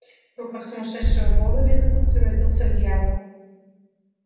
в руках сумасшедшего бога белый клык превратился в дьявола